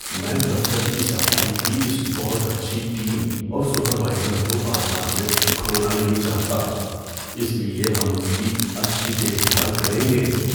میں دفتر کی صفائی کی اس بہت اچھی ٹیم اور سپروائزر کو بازار میں کھونا نہیں چاہتا۔ اس لیے ہم ان کی اچھی دیکھ بھال کریں گے۔